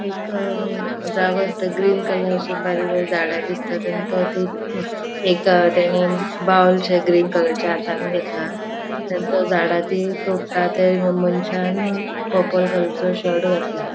एक जागो आसा तै ग्रीन कलर ची बारीक बारीक झाड़ा दिसता तो ते एक तेनी बाउल शे ग्रीन कलरचे हातान घेतला झाड़ा ती तोड़ता त्या मन्शान पर्पल कलर चो शर्ट घातला.